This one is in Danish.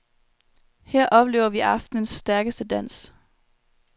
Her oplever vi aftenens stærkeste dans.